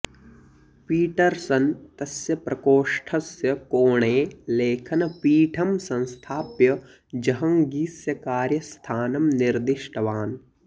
Peterson तस्य प्रकोष्टस्य कोणे लेखनपीठं संस्थाप्य जहङ्गीस्य कार्यस्थानं निर्दिष्टवान्